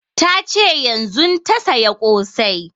Ta ce yanzun ta saya ƙosai